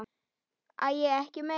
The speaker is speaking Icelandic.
Æi, ekki meira!